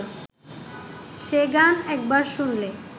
সে গান একবার শুনলে